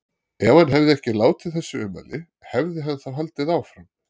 Ef hann hefði ekki látið þessi ummæli, hefði hann þá haldið áfram?